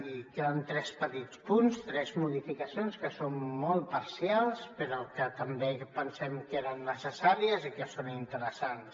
i queden tres petits punts tres modificacions que són molt parcials però que també pensem que eren necessàries i que són interessants